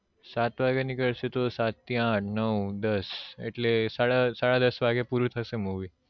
સાત વાગ્યા ની કરશે તો સાત થી આઢ નવ દસ એટલે સાડા સાડા દસ વાગ્યે પૂરું થશે movie